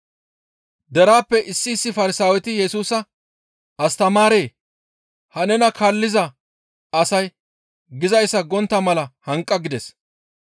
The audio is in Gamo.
Deraappe issi issi Farsaaweti Yesusa, «Astamaaree! Ha nena kaalliza asay gizayssa gontta mala hanqa» gides.